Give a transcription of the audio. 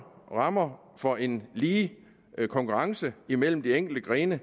rammer for en lige konkurrence imellem de enkelte grene